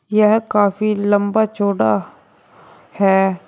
यह काफी लंबा चौड़ा है।